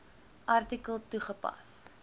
artikel toegepas